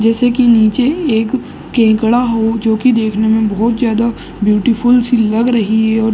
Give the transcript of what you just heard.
जैसे कि नीचे एक केकड़ा हो जो कि देखने मे बहुत ज्यादा ब्यूटीफूल सी लग रही है औ --